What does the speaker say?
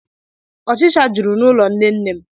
Ọchịcha juru n'ụlọ nnenne m